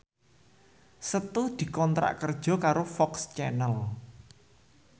Setu dikontrak kerja karo FOX Channel